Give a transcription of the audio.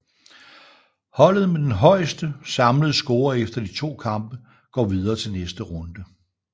Holdet med den højeste samlede score efter de to kampe går videre til næste runde